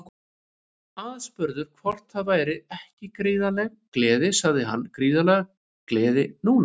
Aðspurður hvort það væri ekki gríðarleg gleði sagði hann Gríðarleg gleði núna.